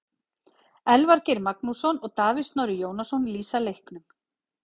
Elvar Geir Magnússon og Davíð Snorri Jónasson lýsa leiknum.